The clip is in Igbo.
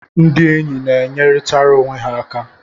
Ndị enyi ga-enyeritara onwe ha aka.